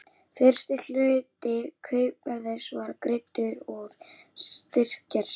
Fyrsti hluti kaupverðsins var greiddur úr styrktarsjóði